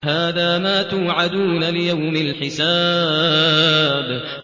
هَٰذَا مَا تُوعَدُونَ لِيَوْمِ الْحِسَابِ